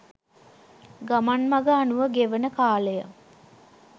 ගමන් මග අනුව ගෙවෙන කාලය